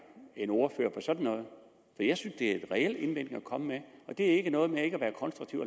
en ordfører på sådan noget jeg synes det er et reelt indlæg at komme med og det er ikke noget med ikke at være konstruktiv